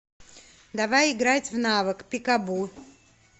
давай играть в навык пикабу